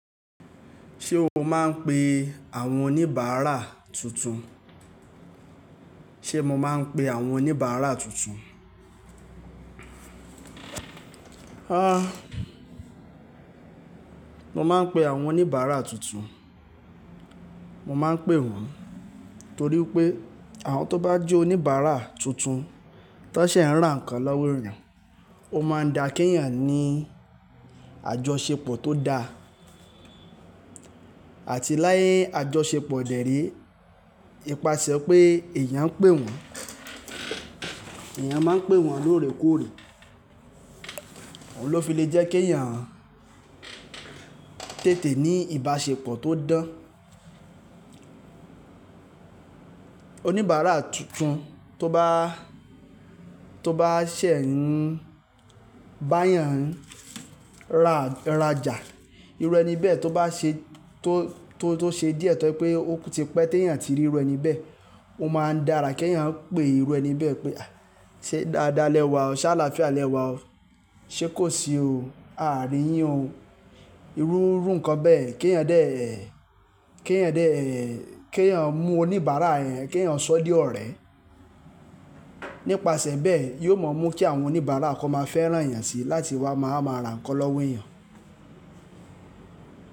Ṣé o máa ń pe àwọn oníbàárà tuntun? Ṣé mo máa ń pe àwọn oníbàárà tuntun? Há! Mo máa ń pe àwọn oníbàárà tuntun. Mo máa ń pè wọ́n torí wipé àwọn tó bá jẹ́ oníbàárà tuntun tó ṣẹ̀ ń ra ǹnkan lọ́wọ́ èèyàn, ó máa ń da ki éeyan ní àjọṣepọ̀ tó da. Àti láyé àjọṣepọ̀ dẹ́re, ipasẹ̀ pé èèyàn ń pè wọ́n, èèyàn máa ń pè wọ́n lóore kóóre. Òhun ló fi lè jẹ́ kí èèyàn tètè ní ìbáṣepọ̀ tó dán. Oníbàárà tuntun tó bá, tó bá ṣẹ̀ ń bá èèyàn ra, rajà, irú ẹni bẹ́ẹ̀ tó bá ṣe, tó, tó, tó ṣe díẹ̀ tó ye pé ó ti pẹ́ tí èèyàn ti rí irú ẹni bẹ́ẹ̀, ó máa ń dára kí èèyàn pé irú ẹni bẹ́ẹ̀ pé "à, ṣé dáadáa lẹ wà ọ́? Ṣe álàfíà lẹ wà ọ́? Ṣé kò sí o? Aàrí yín o." Irú irú ǹnkan bẹ́ẹ̀ yen kí èèyàn dé, kí èèyàn dé, kí èèyàn mú oníbàárà yẹn, kí èèyàn sọ ọ́ di ọ̀rẹ́. Nípasẹ̀ bẹ́ẹ̀, yóò mọ mú kí àwọn oníbàárà kan máa fẹ́ rán èèyàn si láti wá máa máa ra ǹnkan lọ́wọ́ èèyàn.